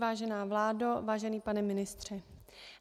Vážená vládo, vážený pane ministře.